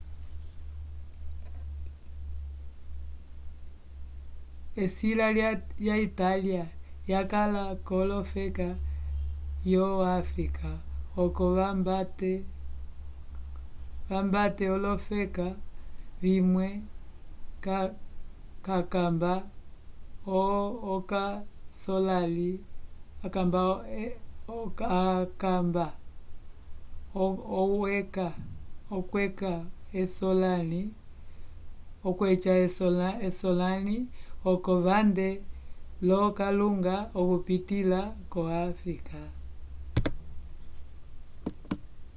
esila ya italia yakala kolofeka yo africa oco vambate olofeka vimwe cakamba okweca esolali oco vande lo kalunga okupitila ko afrika